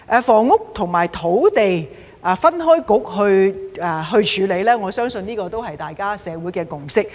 房屋與運輸分開由不同政策局來處理，我相信這是社會的共識。